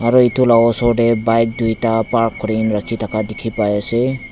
aro itu la osor teh bike duita park kurina rakhi thaka dikhi pai ase.